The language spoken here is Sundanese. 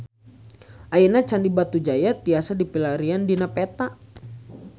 Ayeuna Candi Batujaya tiasa dipilarian dina peta